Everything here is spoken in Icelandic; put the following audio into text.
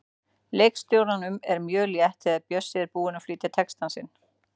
Leikstjóranum er mjög létt þegar Bjössi er búinn að flytja texta sinn.